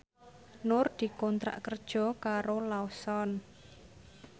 Nur dikontrak kerja karo Lawson